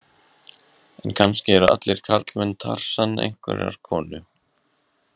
En kannski eru allir karlmenn Tarsan einhverrar konu.